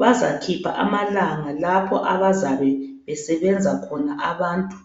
bazakhipha amalanga lapho abazabe besebenza khona abantu.